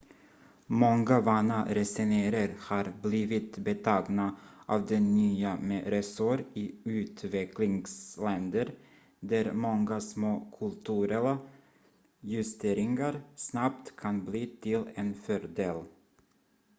många vana resenärer har blivit betagna av det nya med resor i utvecklingsländer där många små kulturella justeringar snabbt kan bli till en fördel